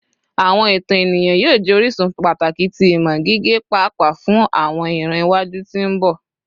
Awọn itan eniyan yoo jẹ orisun pataki ti imọ gige paapaa fun awọn iran iwaju ti mbọ